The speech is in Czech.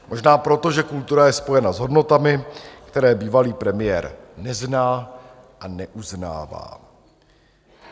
Možná proto, že kultura je spojena s hodnotami, které bývalý premiér nezná a neuznává.